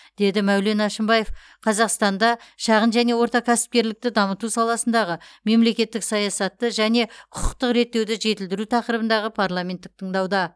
деді мәулен әшімбаев қазақстанда шағын және орта кәсіпкерлікті дамыту саласындағы мемлекеттік саясатты және құқықтық реттеуді жетілдіру тақырыбындағы парламенттік тыңдауда